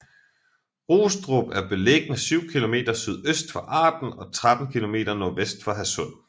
Rostrup er beliggende syv kilometer sydøst for Arden og 13 kilometer nordvest for Hadsund